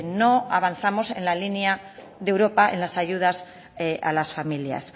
no avanzamos en la línea de europa en las ayudas a las familias